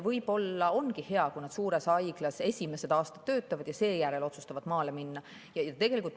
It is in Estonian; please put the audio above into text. Võib-olla ongi hea, kui nad esimesed aastad töötavad suures haiglas ja alles seejärel otsustavad maale minna.